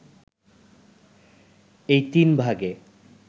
এই তিন ভাগে